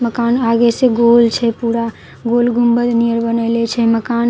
मकान आगे से गोल छे पूरा गोल गुंबद नियन बनएले छे मकान के आगू--